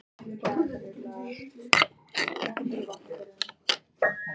Viljið þið Tóti koma til mín í kvöld?